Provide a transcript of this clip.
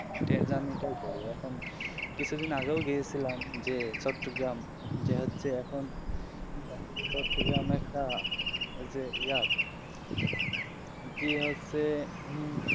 train journey টাও করি যখন কিছু দিন আগেও গিয়েসিলাম যে চট্টগ্রাম যে হচ্ছে এখন চট্টগ্রাম একটা ওই যে ইয়া জী হচ্ছে উম